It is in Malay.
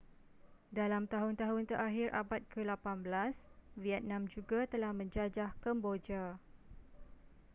dalam tahun-tahun terakhir abad ke-18 vietnam juga telah menjajah kemboja